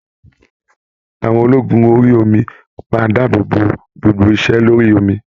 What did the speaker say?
Àwọn ológun orí omi máa dáàbò bò gbogbo ise lórí omi.